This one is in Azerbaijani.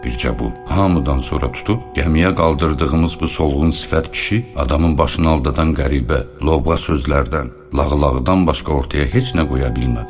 Bircə bu hamıdan sonra tutub gəmiyə qaldırdığımız bu solğun sifət kişi, adamın başını aldadanan qəribə, lovğa sözlərdən, lağlağıdan başqa ortaya heç nə qoya bilmədi.